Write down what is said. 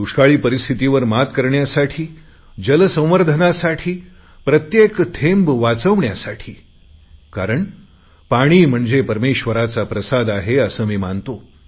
दुष्काळी परिस्थितीवर मात करण्यासाठी जलसंवर्धनासाठी प्रत्येक थेंब वाचवण्यासाठी कारण पाणी म्हणजे परमेश्वराचा प्रसाद आहे असे मी मानतो